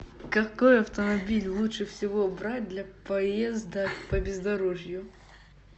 какой автомобиль лучше всего брать для поездок по бездорожью